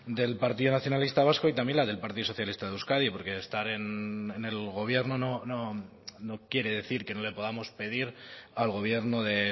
del partido nacionalista vasco y también la del partido socialista de euskadi porque estar en el gobierno no quiere decir que no le podamos pedir al gobierno de